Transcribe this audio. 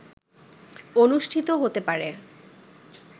অনুষ্ঠিত হতে পারে